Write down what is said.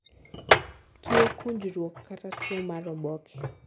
tuo kunjruok , kata tuo mar oboke